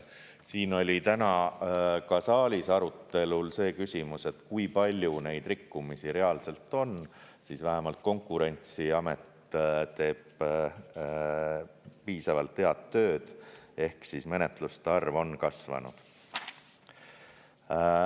Siin oli täna ka saalis arutelul see küsimus, et kui palju neid rikkumisi reaalselt on, siis vähemalt Konkurentsiamet teeb piisavalt head tööd ehk menetluste arv on kasvanud.